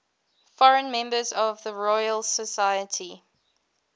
foreign members of the royal society